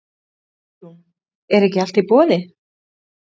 Hugrún: Er ekki allt í boði?